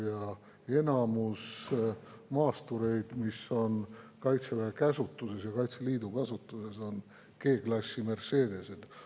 Ja enamik maastureid, mis on Kaitseväe käsutuses ja Kaitseliidu kasutuses, on G-klassi Mercedesed.